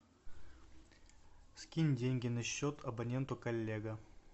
скинь деньги на счет абоненту коллега